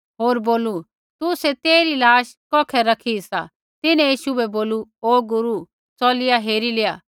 होर बोलू तुसै तेइरी लाश कौखै रखी सा तिन्हैं यीशु बै बोलू ओ गुरू च़लिया हेरी लेआ